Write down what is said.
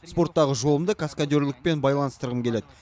спорттағы жолымды каскадерлікпен байланыстырғым келеді